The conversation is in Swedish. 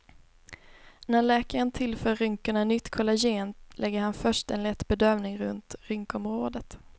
När läkaren tillför rynkorna nytt kollagen lägger han först en lätt bedövning runt rynkområdet.